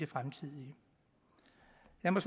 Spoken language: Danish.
er